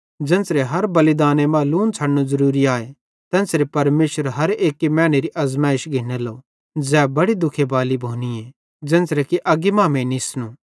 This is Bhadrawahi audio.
ज़ेन्च़रां हर बलिदाने मां लून छ़डनू ज़रूरी आए तेन्च़रां परमेशर हर एक्की मैनेरी आज़माइश घिन्नलो ज़ै बड़ी दुखे बाली भोनी आए ज़ेन्च़रां कि अग्गी मांमेइं निसनूए